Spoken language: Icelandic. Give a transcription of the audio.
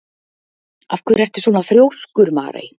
Af hverju ertu svona þrjóskur, Marey?